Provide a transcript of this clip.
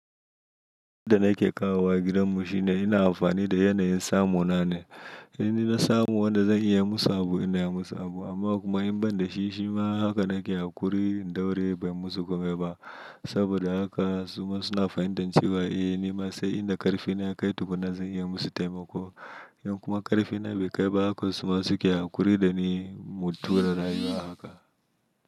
Nda nake kawowa gidanmu shine ina amfani da yanayin samu nane. Ina samu wanda zan iyai musu abu inai musu abu amma kuma in banda shi shima haka nake hakuri in daure ban musu kome ba. Saboda haka suma suna fahintan cewa eh nima sai inda ƙarfi na ya kai tukunna zan iyai musu taimako. In kuma ƙarfi na bai kai ba haka suma suke hakuri da ni. Mu tura rayuwa ahaka.